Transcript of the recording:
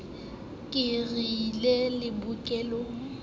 ke re llang le bokolleng